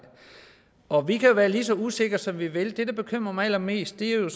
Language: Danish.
og vi kan jo være lige så usikre som vi vil men det der bekymrer mig allermest er jo